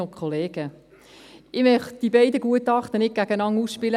Ich möchte die beiden Gutachten nicht gegeneinander ausspielen.